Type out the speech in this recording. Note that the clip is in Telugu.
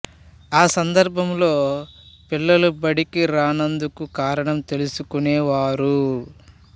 ఆ సందర్భంలో పిల్లలు బడికి రానందుకు కారణం తెలుసుకునే వారు